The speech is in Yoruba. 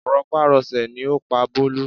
Rọpárọsẹ̀ ni ó pa Bólú